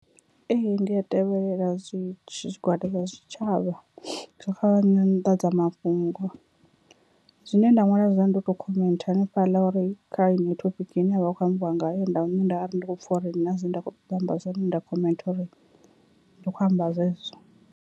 Ee, ndi a tevhelela zwitshi zwigwada zwa tshitshavha zwa kha nyanḓadzamafhungo. Zwine nda ṅwala zwone ndi u to khomentha hanefhaḽa uri kha heneyi thophiki ine havha hu kho ambiwa ngayo nda nda ri ndi kho pfha uri hu na zwine nda kho ṱoḓa u amba zwone nda khomentha uri ndi khou amba zwezwo.